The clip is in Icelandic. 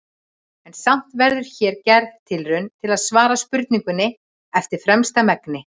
En samt verður hér gerð tilraun til að svara spurningunni eftir fremsta megni.